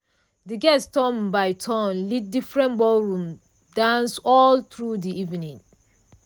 de guest turn by turn lead different ballroom dances all through de evening.